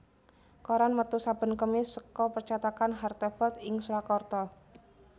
Koran metu saben Kemis seka percétakan Hartevelt ing Surakarta